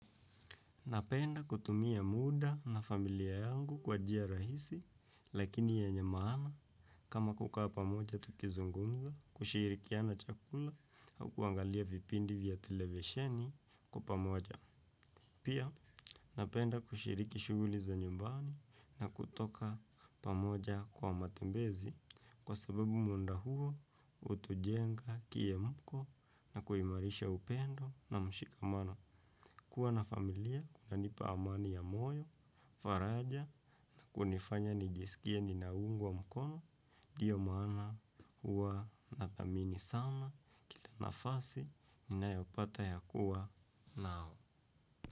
Napenda kutumia muda na familia yangu kwa njia rahisi lakini yenye maana kama kukaa pamoja tukizungumza, kushirikiana chakula au kuangalia vipindi vya televisheni kwa pamoja. Pia napenda kushiriki shughuli za nyumbani na kutoka pamoja kwa matembezi kwa sababu muda huo hutujenga kiemko na kuimarisha upendo na mshikamano. Kuwa na familia, kunanipa amani ya moyo, faraja na kunifanya nijisikie ninaungwa mkono, ndiyo maana huwa nathamini sana kila nafasi ninayopata ya kuwa nao.